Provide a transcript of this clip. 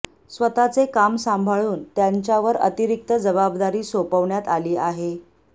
स्वतःचे काम सांभाळून त्यांच्यावर अतिरिक्त जबाबदारी सोपवण्यात आली आहे